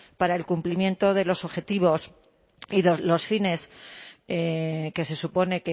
para el cumplimiento de los objetivos y de los fines que se supone